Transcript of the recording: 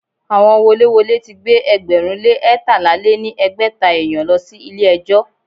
Àwọn woléwolé ti gbé ẹgbẹ̀rún lé eétalá lé ní ẹgbẹ́ta èèyàn lọ sí ilé ẹjọ́.